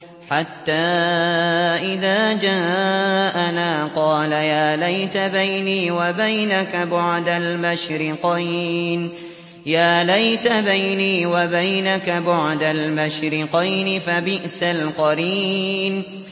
حَتَّىٰ إِذَا جَاءَنَا قَالَ يَا لَيْتَ بَيْنِي وَبَيْنَكَ بُعْدَ الْمَشْرِقَيْنِ فَبِئْسَ الْقَرِينُ